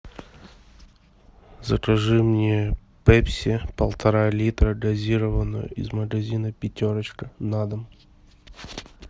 закажи мне пепси полтора литра газированную из магазина пятерочка на дом